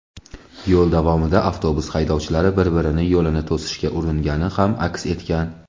yo‘l davomida avtobus haydovchilari bir-birini yo‘lini to‘sishga uringani ham aks etgan.